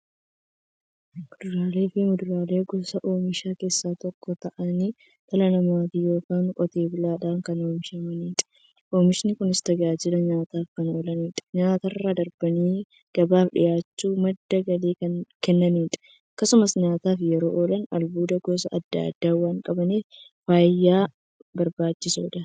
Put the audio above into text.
Kuduraafi muduraan gosa oomishaa keessaa tokko ta'anii, dhala namaatin yookiin Qotee bulaadhan kan oomishamaniidha. Oomishni Kunis, tajaajila nyaataf kan oolaniifi nyaatarra darbanii gabaaf dhiyaachuun madda galii kan kennaniidha. Akkasumas nyaataf yeroo oolan, albuuda gosa adda addaa waan qabaniif, fayyaaf barbaachisoodha.